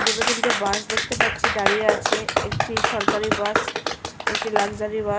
দুটো তিনটে বাস দেখতে পাচ্ছি দাঁড়িয়ে আছে একটি সরকারি বাস একটি লাক্সারি বাস ।